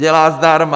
Dělá zdarma.